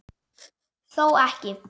Þó ekki.?